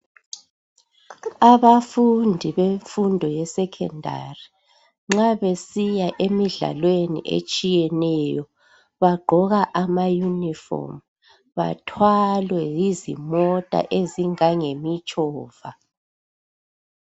Abafundi bemfundo yesekhendari, nxa besiya emidlalweni etshiyeneyo, bagqoka amayunifomu bathwalwe yizimota ezingangemitshova.